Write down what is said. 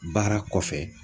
Baara kɔfɛ